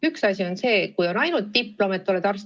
Üks asi on see, kui sul on ainult diplom, et oled arst.